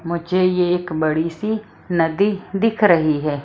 मुझे ये एक बड़ी सी नदी दिख रही है।